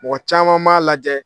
Mɔgɔ caman b'a lajɛ